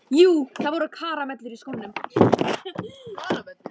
Jú, það voru karamellur í öllum skónum.